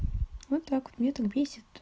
вот так мне ответь